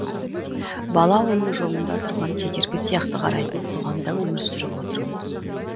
бала оның жолында тұрған кедергі сияқты қарайтын қоғамда өмір сүріп отырмыз